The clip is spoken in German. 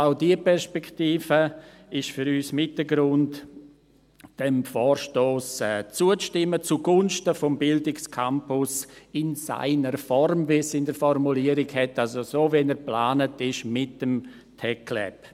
Also: Auch diese Perspektive ist für uns mit ein Grund, diesem Vorstoss zuzustimmen, zugunsten des Bildungscampus’ «in seiner Form», wie formuliert wurde, also so, wie er geplant ist, mit dem TecLab.